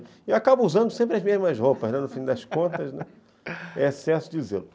E eu acabo usando sempre as mesmas roupas, né, no fim das contas, é excesso de zelo